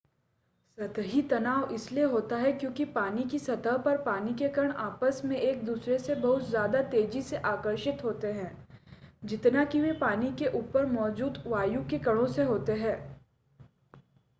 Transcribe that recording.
सतही तनाव इसलिए होता है क्योंकि पानी की सतह पर पानी के कण आपस मे एक-दूसरे से बहुत ज्यादा तेज़ी से आकर्षित होते हैं जितना कि वे पानी के ऊपर मौजूद वायु के कणो से होते है